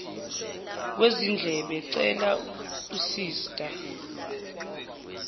kwezindlebe cela usista